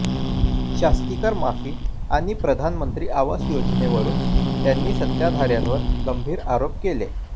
शास्तीकर माफी आणि प्रधानमंत्री आवास योजनेवरून त्यांनी सत्ताधाऱ्यावर गंभीर आरोप केले